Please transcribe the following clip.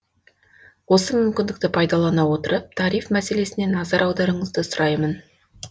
осы мүмкіндікті пайдалана отырып тариф мәселесіне назар аударуыңызды сұраймын